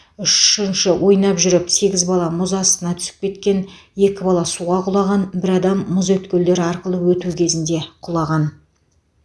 үшінші ойнап жүріп сегіз бала мұз астына түсіп кеткен екі бала суға құлаған бір адам мұз өткелдері арқылы өту кезінде құлаған